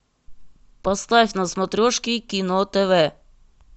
поставь на смотрешке кино тв